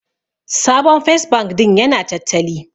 Sabon First bank din ya na tattali